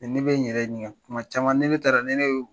Ni ne ye n yɛrɛ ɲininka,, kuma caman ni ne taara ni ne